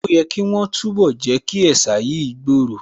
Ó yẹ̀ kí wọ́n túnbọ̀ Jẹ́kí ẹ̀sà yìí gbòòrò